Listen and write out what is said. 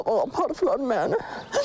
Sabah-sabah aparıblar məni.